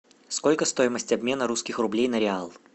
сколько стоимость обмена русских рублей на реал